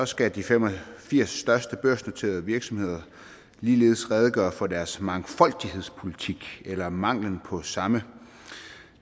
skal de fem og firs største børsnoterede virksomheder ligeledes redegøre for deres mangfoldighedspolitik eller mangel på samme